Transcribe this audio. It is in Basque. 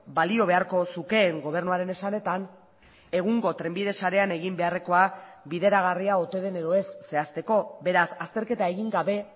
balio beharko zukeen gobernuaren esanetan egungo trenbide sarean egin beharrekoa bideragarria ote den edo ez zehazteko beraz azterketa egin gabe